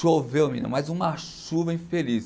Choveu, menina mas uma chuva infeliz.